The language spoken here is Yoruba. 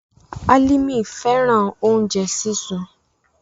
Alimi fẹran ounjẹ sisun